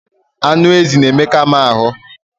Anụ ezi na-emeka m ahụ.